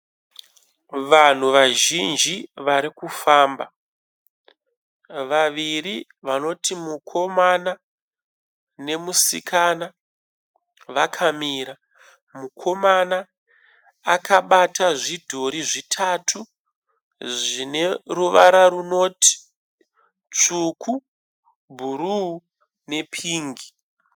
Vanhu vazhinji vari kufamba . Vaviri vanoti mukomana nemusikana vakamira. Mukomana akabata zvidhori zvitatu zvine ruvara runoti tsvuku bhuruu nepingi.